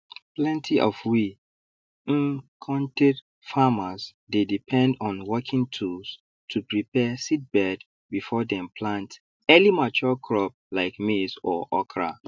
plenty of we um kontir farmers dey depend on working tools to prepare seedbed before dem plant earlymature crop like maize or okra